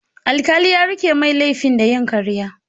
Alkalin ya rike mai laifin da yin karya.